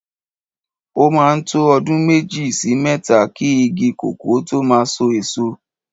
O máa ń tó ọdún méjì sí mẹ́ta ki igi kòkó tó máa so èso.